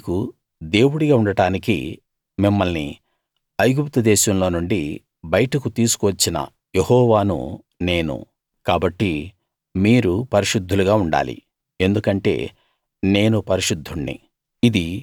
మీకు దేవుడిగా ఉండటానికి మిమ్మల్ని ఐగుప్తుదేశంలో నుండి బయటకు తీసుకు వచ్చిన యెహోవాను నేను కాబట్టి మీరు పరిశుద్ధులుగా ఉండాలి ఎందుకంటే నేను పరిశుద్ధుణ్ణి